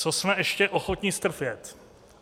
Co jsme ještě ochotni strpět?